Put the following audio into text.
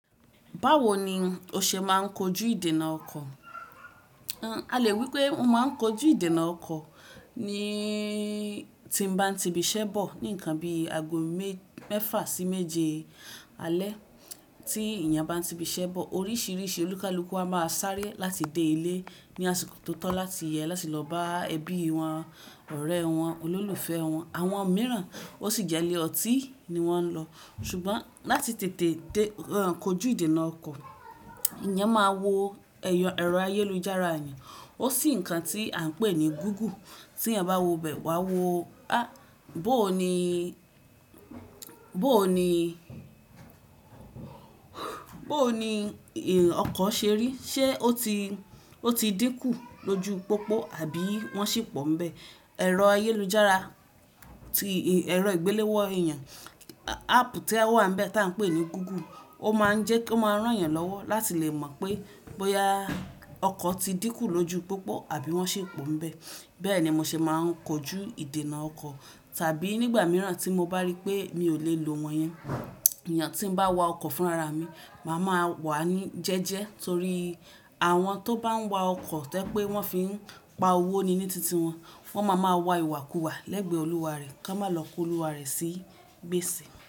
Báwo ni o ṣe máa ń kojú ìdènà ọkọ̀? A lè wípé mo máa ń kojú ìdènà ọkọ̀ ni tí n bá ń ti ibi iṣẹ́ bọ̀. Ní ǹkan bí ago mẹ́fà sí méje alẹ́ tí èèyàn bá ń ti ibi iṣẹ́ bọ̀ oríṣìíríṣìí olúkalúkú a máa sáré láti dé ilé ní àsìkò tó tọ́ láti yẹ láti lọ bá ẹbí wọn, ọ̀rẹ́ wọn, olólùfẹ́ wọn. Àwọn mìíràn ó sì jẹ́ ilé ọtí ni wọ́n ń lọ. Ṣùgbọ́n láti tètè kojú ìdènà ọkọ̀, èèyàn máa wo ẹ̀rọ ayélujára èèyàn. Ó sì ǹkan tí à ń pè ní Google. Tí èèyàn bá wọ bẹ́ wá wo a! Bó ni, bó ni, bó ni ọkọ̀ ṣe rí. Ṣé ó ti, o ti dínkù lójú pópó àbí wọ́n ṣì pọ̀ ń bẹ? Ẹ̀rọ ayélujára, ti ẹ̀rọ ìgbéléwọ́ èèyàn, áàpù to wà n bẹ̀ tí à ń pè ní Google ó máa ń jẹ́ ki o máa rán yàn lọ́wọ́ láti lè mọ pé bóyá ọkọ̀ ti dínkù lójú pópó àbí wọ́n ṣì pọ̀ ń bẹ. Bẹ́ẹ̀ ni mo ṣe máa ń kojú ìdènà ọkọ̀. Tàbí nígbà mìíràn tí mo bá rí pé mi ò lè lo wọn yẹn, iyen tí ń bá wa ọkọ̀ fúnra ra mi, màá máa wà ní jẹ́jẹ́ torí àwọn tó bá ń wa ọkọ̀ tẹ́ je pé wọ́n fi ń pa owó ni ní titi wọn. Wọ́n máa ma wa ìwàkuwà lẹ́gbẹ̀ẹ́ olúwa rẹ kí wọ́n má lọ kó olúwa rẹ sí gbèsè.